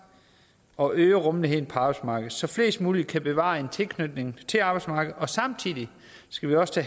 og øge rummeligheden på arbejdsmarkedet så flest mulige kan bevare en tilknytning til arbejdsmarkedet og samtidig skal vi også